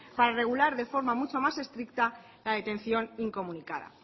para regular de forma mucho más estricta la detención incomunicada